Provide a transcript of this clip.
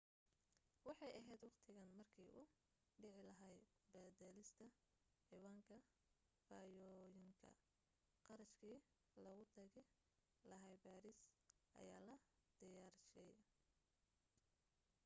waxay ahayd wakhtigan markii uu dhici lahaa badalista ciwaanka fashoyoonka kharashkii lagu tagi lahaa paris ayaa la diyaarshay